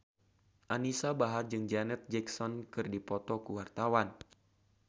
Anisa Bahar jeung Janet Jackson keur dipoto ku wartawan